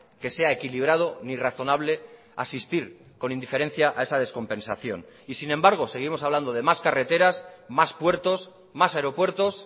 que sea equilibrado ni razonable asistir con indiferencia a esa descompensación y sin embargo seguimos hablando de más carreteras más puertos más aeropuertos